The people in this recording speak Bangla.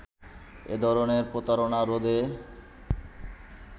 এধরনের প্রতারনা রোধে